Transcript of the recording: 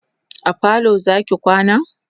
a falo Zaki kwana?